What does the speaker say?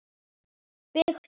Byggt á